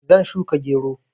Zan shuka gero.